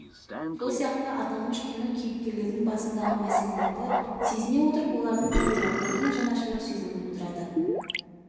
сол сияқты аталмыш кино кейіпкерлердің басындағы мәселелерді сезіне отырып олардың табиғатқа деген жанашырлық сезімін тудырады